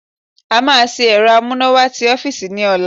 A máa ṣe ẹ̀rọ amúnáwá ti ọ́fíìsì ní ọ̀la